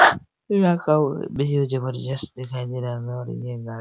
यहाँ का व्यू जबरदस्त दिखाई दे रहा है --